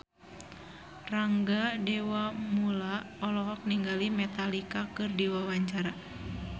Rangga Dewamoela olohok ningali Metallica keur diwawancara